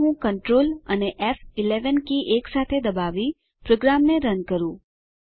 ચાલો હું કન્ટ્રોલ અને ફ11 કી એકસાથે દબાવી પ્રોગ્રામને રન કરું